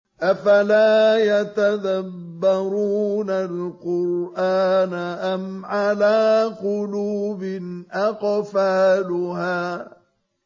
أَفَلَا يَتَدَبَّرُونَ الْقُرْآنَ أَمْ عَلَىٰ قُلُوبٍ أَقْفَالُهَا